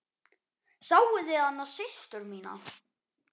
Sáuð þið hana systur mína.